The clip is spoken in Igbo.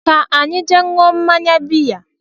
Ka anyị jee ṅụọ mmanya bea